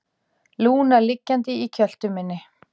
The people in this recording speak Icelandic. Lúna liggjandi í kjöltu minni.